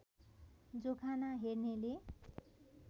जोखाना हेर्नेले